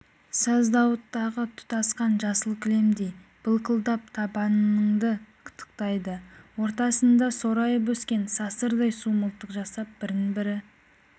саздауыттағы тұтасқан жасыл кілемдей былқылдап табаныңды қытықтайды ортасында сорайып өскен сасырдан су мылтық жасап бірін-бірі